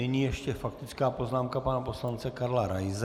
Nyní ještě faktická poznámka pana poslance Karla Raise.